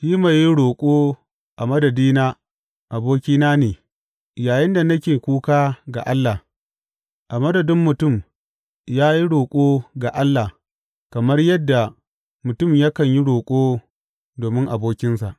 Shi mai yin roƙo a madadina abokina ne yayinda nake kuka ga Allah; a madadin mutum ya yi roƙo ga Allah kamar yadda mutum yakan yi roƙo domin abokinsa.